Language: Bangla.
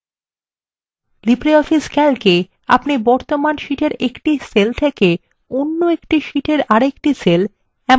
libreoffice ক্যালকএ আপনি বর্তমান শীটএর একটি সেল থেকে অন্য একটি শীটএর আরেকটি সেল এমনকি